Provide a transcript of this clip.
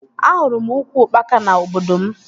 Ahụrụ m ukwu ukpaka na obodo m